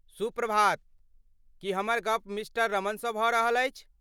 सुप्रभात, की हमर गप मिस्टर रमणसँ भऽ रहल अछि?